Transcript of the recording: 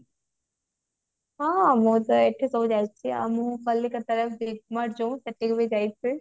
ହଁ ମୁଁ ତ ଏଠି ସବୁ ଯାଇଛି ଆଉ ମୁଁ କଲିକତା big mart ଯୋଉ ସେଠିକି ବି ଯାଇଛି